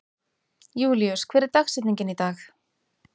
Júlíus, hver er dagsetningin í dag?